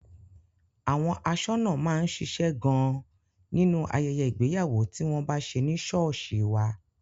Àwọn aṣọ́nà máa ń ṣíṣe gan-an nínú ayẹyẹ ìgbéyàwó tí wọ́n bá ṣe ní sọ́ọ̀sì wá.